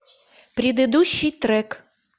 предыдущий трек